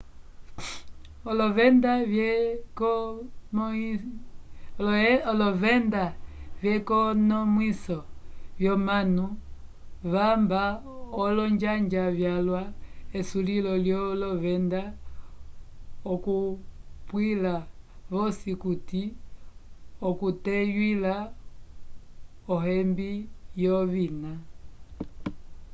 olovenda vyekonomwiso vyomanu vakemba olonjanja vyalwa esulilo lyolovenda okuapwila vosi okuti okuteywila uhembi wovina